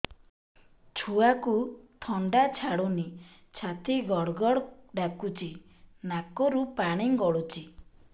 ଛୁଆକୁ ଥଣ୍ଡା ଛାଡୁନି ଛାତି ଗଡ୍ ଗଡ୍ ଡାକୁଚି ନାକରୁ ପାଣି ଗଳୁଚି